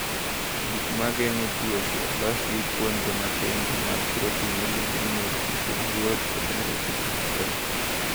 "Gik ma geng’o tuoche olosi gi kuonde matindo mag protin miluongo ni nyoroche mayot kod nyoroche mapek."